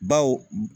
Baw